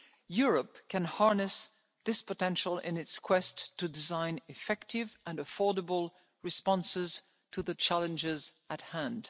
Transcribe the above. Europe can harness this potential in its quest to design effective and affordable responses to the challenges